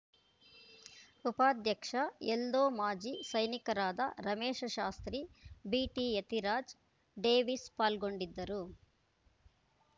ಉಪಾಧ್ಯಕ್ಷ ಎಲ್ದೋ ಮಾಜಿ ಸೈನಿಕರಾದ ರಮೇಶ ಶಾಸ್ತ್ರಿ ಬಿಟಿಯತಿರಾಜ್‌ ಡೇವೀಸ್‌ ಪಾಲ್ಗೊಂಡಿದ್ದರು